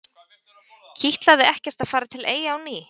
Kitlaði ekkert að fara til Eyja á ný?